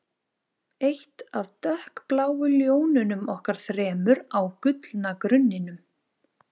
Eitt af dökkbláu ljónunum okkar þremur á gullna grunninum